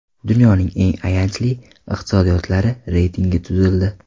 Dunyoning eng ayanchli iqtisodiyotlari reytingi tuzildi.